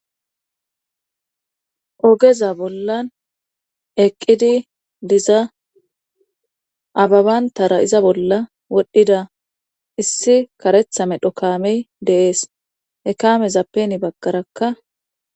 Ogeza bollan eqqidi diza ababantara iza bolla wodhdhida issi karetha me dho kaamey deees ekame zappeni baggarakka.